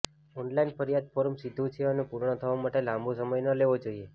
online ફરિયાદ form સીધું છે અને પૂર્ણ થવા માટે લાંબો સમય ન લેવો જોઈએ